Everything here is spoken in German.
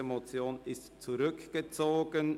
Die Motion wurde zurückgezogen.